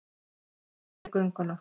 Ég herði gönguna.